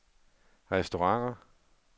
restauranter